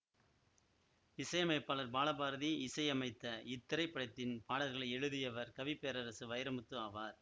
இசையமைப்பாளர் பாலபாரதி இசையமைத்த இத்திரைப்படத்தின் பாடல்களை எழுதியவர் கவி பேரரசு வைரமுத்து ஆவார்